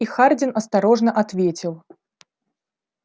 и хардин осторожно ответил